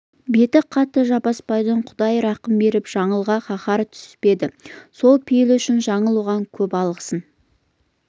беті қатты жаппасбайдың құдай рақым беріп жаңылға қаһары түспеді сол пейілі үшін жаңыл оған көп алғысын